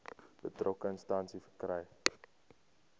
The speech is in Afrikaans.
betrokke instansie verkry